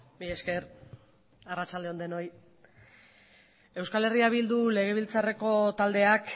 mila esker arratsalde on denei euskal herria bildu legebiltzarreko taldeak